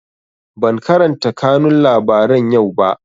Ban karanta kanun labaran yau ba